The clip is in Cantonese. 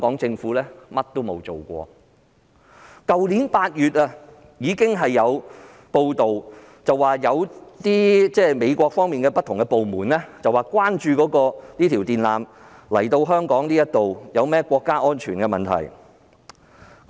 早於去年8月，已有報道指美國有不同部門關注將電纜接駁至香港所構成的國家安全問題。